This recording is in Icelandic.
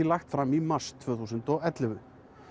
lagt fram í mars tvö þúsund og ellefu